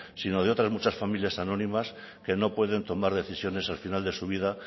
sino de otras muchas familias anónimas que no puede tomar decisiones al final de su vida